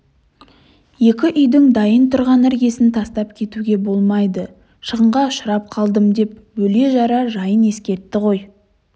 екі үйдің дайын тұрған іргесін тастап кетуге болмайды шығынға ұшырап қалдым деп бөле-жара жайын ескертті ғой